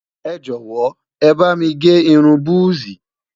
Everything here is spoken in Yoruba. ẹjọ wò, é bá mí gé irún buzi